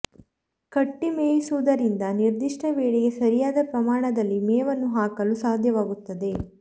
ಕಟ್ಟಿ ಮೇಯಿಸುವುದರಿಂದ ನಿರ್ದಿಷ್ಟ ವೇಳೆಗೆ ಸರಿಯಾದ ಪ್ರಮಾಣದಲ್ಲಿ ಮೇವನ್ನು ಹಾಕಲು ಸಾಧ್ಯವಾಗುತ್ತದೆ